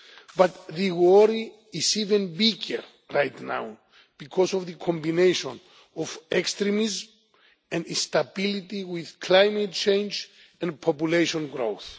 But the worry is even bigger right now because of the combination of extremism and instability with climate change and population growth.